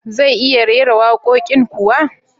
Zai iya rera waƙoƙin kuwa?